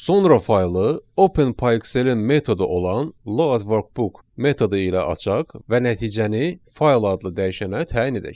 Sonra faylı OpenPyXL-in metodu olan load_workbook metodu ilə açaq və nəticəni fayl adlı dəyişənə təyin edək.